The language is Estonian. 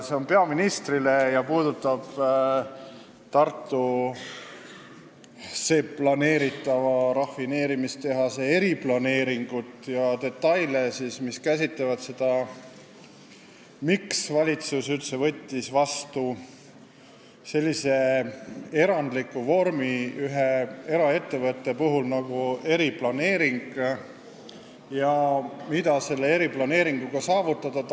See on peaministrile ja puudutab Tartusse planeeritava rafineerimistehase eriplaneeringut ja detaile – miks valitsus üldse võttis ühe eraettevõtte puhul vastu sellise erandliku vormi nagu eriplaneering ja mida sellega tahetakse saavutada.